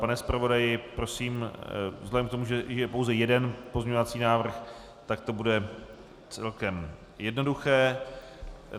Pane zpravodaji, prosím, vzhledem k tomu, že je pouze jeden pozměňovací návrh, tak to bude celkem jednoduché.